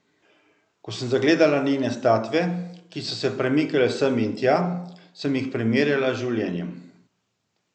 Ko sem zagledala njene statve, ki so se premikale sem in tja, sem jih primerjala z življenjem.